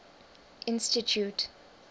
institute